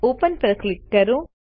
open પર click કરો